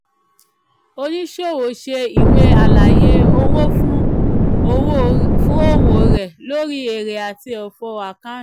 oníṣòwò ṣe ìwé àlàyé owó fún òwò rẹ̀ lórí èrè àti òfò account